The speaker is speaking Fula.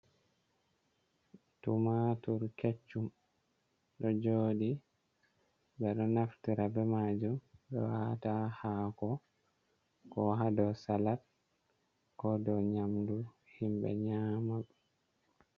Tumatur kecchum ɗo joɗi ɓeɗo naftira be majum ɓeɗo wata ha hako ko ha dou salat ko dou nyamdu himɓe nyama.